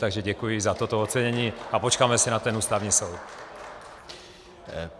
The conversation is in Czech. Takže děkuji za toto ocenění a počkáme si na ten Ústavní soud.